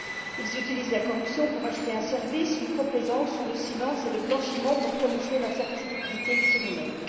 Ils utilisent la corruption pour acheter un service, une complaisance, ou le silence, et le blanchiment pour camoufler leurs activités criminelles.